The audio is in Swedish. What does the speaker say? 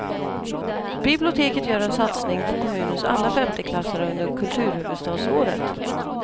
Biblioteket gör en satsning på kommunens alla femteklassare under kulturhuvudstadsåret.